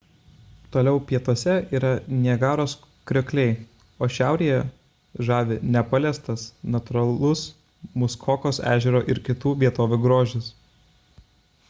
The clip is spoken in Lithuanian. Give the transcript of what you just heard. toliau pietuose yra niagaros kriokliai o šiaurėje žavi nepaliestas natūralus muskokos ežero ir kitų vietovių grožis